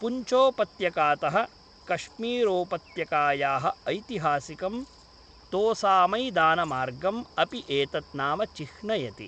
पुञ्चोपत्यकातः कश्मीरोपत्यकायाः ​​ऐतिहासिकं तोसामैदानमार्गम् अपि एतत् नाम चिह्नयति ।